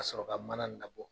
K'a sɔrɔ ka mana nin labɔ.